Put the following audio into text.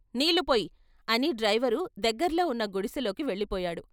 నీళ్ళుపొయ్యి " అని డ్రైవరు దగ్గర్లో ఉన్న గుడిసెలోకి వెళ్ళిపోయాడు.